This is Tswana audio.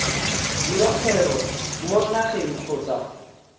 dira kgwebo mo nageng kgotsa